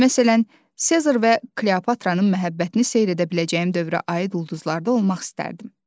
Məsələn, Sezar və Kleopatranın məhəbbətini seyr edə biləcəyim dövrə aid ulduzlarda olmaq istərdim.